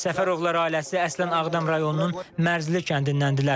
Səfərovlar ailəsi əslən Ağdam rayonunun Mərzili kəndindəndirlər.